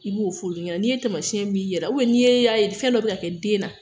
I b'o fo ulu ɲɛna, n'i ye tamasin ye i yɛrɛ la, n'i y'a ye fɛn dɔ bɛ ka kɛ n den na